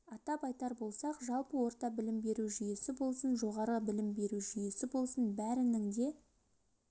атап айтар болсақ жалпы орта білім беру жүйесі болсын жоғары білім беру жүйесі болсын бәрінің де